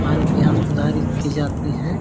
आरोग्य यहाँ सुधारी की जाती है।